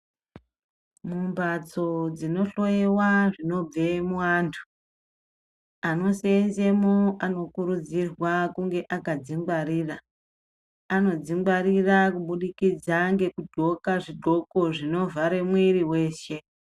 Mumbatso dzino hloyiwa zvinobva muantu, ano seenzemo ano kurudzirwa kunge aka dzingwarira. Ano dzingwarira kubudikidza ngeku qxoka zviqxoko zvino vhara muiri weshe.